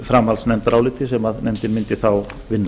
framhaldsnefndaráliti sem nefndin mundi þá vinna